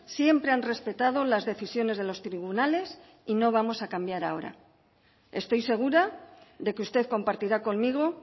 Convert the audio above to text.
siempre han respetado las decisiones de los tribunales y no vamos a cambiar ahora estoy segura de que usted compartirá conmigo